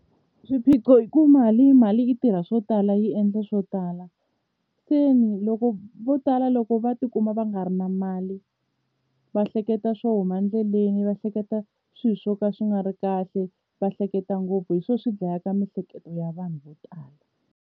Swiphiqo i ku mali mali i tirha swo tala yi endla swo tala ku ni loko vo tala loko va tikuma va nga ri na mali va hleketa swo huma endleleni va hleketa swilo swo ka swi nga ri kahle va hleketa ngopfu hi swona swi dlaya ka miehleketo ya vanhu vo tala.